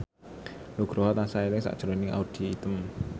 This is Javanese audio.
Nugroho tansah eling sakjroning Audy Item